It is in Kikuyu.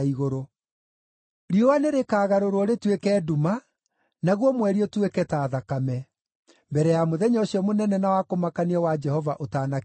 Riũa nĩrĩkagarũrwo rĩtuĩke nduma, naguo mweri ũtuĩke ta thakame, mbere ya mũthenya ũcio mũnene na wa kũmakania wa Jehova ũtanakinya.